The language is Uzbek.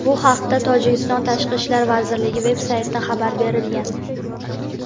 Bu haqda Tojikiston Tashqi ishlar vazirligi veb-saytida xabar berilgan.